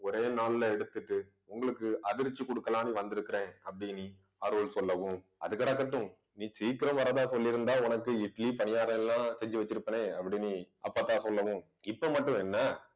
ஒரே நாள்ல எடுத்துட்டு உங்களுக்கு அதிர்ச்சி கொடுக்கலான்னு வந்திருக்கிறேன் அப்படின்னு, அருள் சொல்லவும் அது கிடக்கட்டும் நீ வரதா சொல்லி இருந்தா உனக்கு இட்லி பணியாரம் எல்லாம் செஞ்சு வச்சிருப்பேனே அப்படின்னு அப்பத்தா சொல்லவும் இப்ப மட்டும் என்ன